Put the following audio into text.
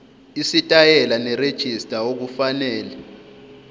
isitayela nerejista okufanele